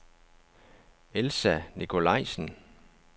Elsa Nikolajsen